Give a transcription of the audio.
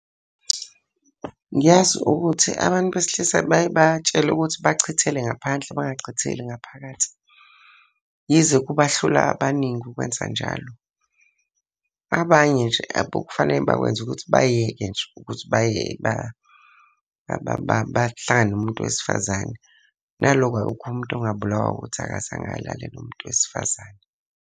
Ngiyazi ukuthi abantu besilisa bayeke batshelwe ukuthi bachithele ngaphandle bangachitheli ngaphakathi. Yize kuba hlula abaningi ukwenza njalo, abanye nje abokufaneke bakwenze ukuthi bayeke nje ukuthi bahlangane nomuntu wesifazane. Naloko akukho umuntu ongabulawa ukuthi akazange alale nomuntu wesifazane.